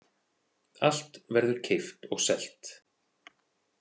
Allt verður keypt og selt.